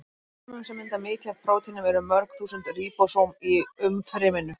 Í frumum sem mynda mikið af prótínum eru mörg þúsund ríbósóm í umfryminu.